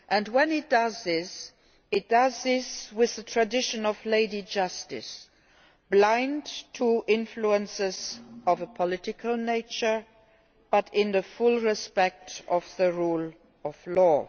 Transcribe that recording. When it does this, it does so in the tradition of Lady Justice, blind to influences of a political nature, but in full respect of the rule of law.